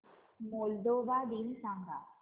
Moldova दिन सांगा